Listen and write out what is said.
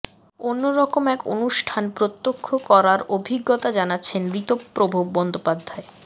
অন্য রকম এক অনুষ্ঠান প্রত্যক্ষ করার অভিজ্ঞতা জানাচ্ছেন ঋতপ্রভ বন্দ্যোপাধ্যায়